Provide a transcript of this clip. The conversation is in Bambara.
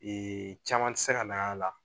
Ee caman tɛ se ka na a la